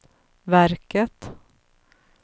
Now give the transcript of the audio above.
verket